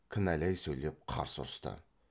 кінәлай сөйлеп қарсы ұрысты